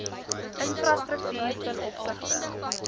infrastruktuur ten opsigte